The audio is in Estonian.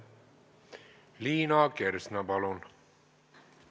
Liina Kersna, palun!